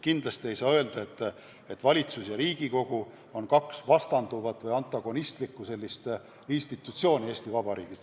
Kindlasti ei saa öelda, et valitsus ja Riigikogu on kaks vastanduvat, antagonistlikku institutsiooni Eesti Vabariigis.